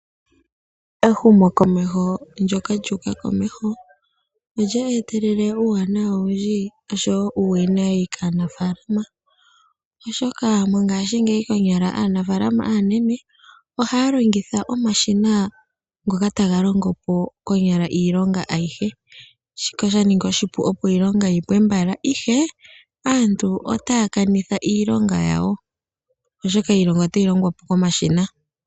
Ehumokomeho ndyoka lyu uka komeho olye etelele uuwanawa owindji nosho wo uuwinayi kaanaafalama, oshoka mongashingeyi konyala aanafaalama aanene ohaya longitha omashina ngoka taga longo po konyala iilonga ayihe. Shika osha ningi oshipu, opo iilonga yi pwe mbala, ihe aantu otaya kanitha iilonga yawo, oshoka iilonga otayi longwa po komashina.